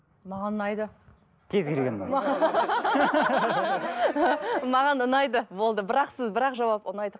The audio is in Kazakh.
маған ұнайды кез келген ұнайды маған ұнайды болды бір ақ сөз бір ақ жауап ұнайды